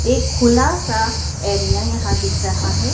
एक खुला सा एरिया यहां दिख रहा है।